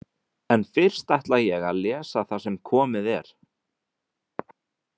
En fyrst ætla ég að lesa það sem komið er.